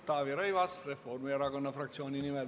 Taavi Rõivas, Reformierakonna fraktsiooni nimel.